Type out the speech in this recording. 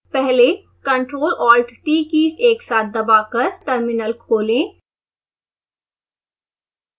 पहले ctrl+alt+t keys एक साथ दबाकर टर्मिनल खोलें